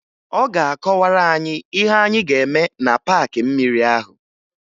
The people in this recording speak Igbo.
Ọ ga-akọwara anyị ihe anyị ga-eme na paakị mmiri ahụ